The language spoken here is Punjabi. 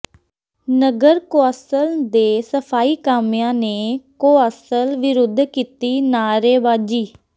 ਨਗਰ ਕੌ ਾਸਲ ਦੇ ਸਫ਼ਾਈ ਕਾਮਿਆਂ ਨੇ ਕੌ ਾਸਲ ਵਿਰੁੱਧ ਕੀਤੀ ਨਾਅਰੇਬਾਜ਼ੀ